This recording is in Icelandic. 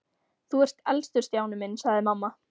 Þú ert elstur Stjáni minn sagði mamma.